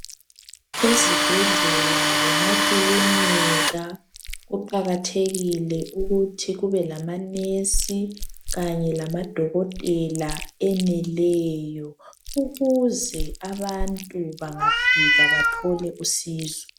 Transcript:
Ezibhedlela lemakilinika kuqakathekile ukuthi kube lama"nurse" kanye lamadokotela eneleyo ukuze abantu bangafika bathole usizo.